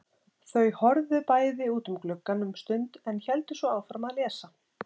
Þau horfðu bæði út um gluggann um stund en héldu svo áfram að lesa.